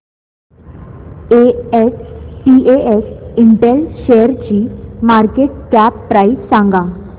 SPS Intel शेअरची market cap price सांगा